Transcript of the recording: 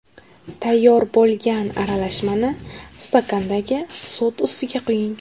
Tayyor bo‘lgan aralashmani stakandagi sut ustiga quying.